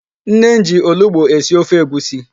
Nne m ji olugbo esi ofe egwusi.